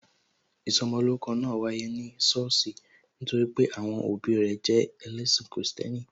Ìsọmolórúkọ náà wáyé ní sọ́ọ̀sì nítorí pé àwọn òbí rẹ jẹ ẹlẹ́ṣin Kristẹni